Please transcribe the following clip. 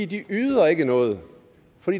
de yder ikke noget